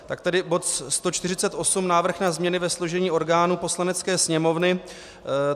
Tak tedy bod 148 - Návrh na změny ve složení orgánů Poslanecké sněmovny.